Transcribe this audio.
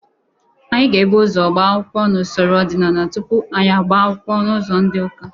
Anyị ga-ebụ ụzọ gba akwụkwọ n'usoro ọdịnala tupu anyị agba n'ụzọ ndị ụka.